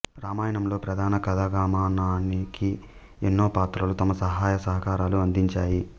రామాయణంలో ప్రధాన కథాగమనానికి ఎన్నో పాత్రలు తమ సహాయ సహకారాలు అందించాయి